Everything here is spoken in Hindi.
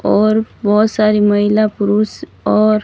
और बहोत सारी महिला पुरुष और--